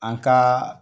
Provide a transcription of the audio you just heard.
An ka